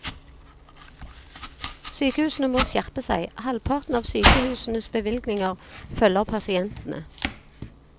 Sykehusene må skjerpe seg, halvparten av sykehusenes bevilgninger følger pasientene.